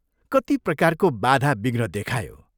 कति प्रकारको बाधा बिघ्न देखायो।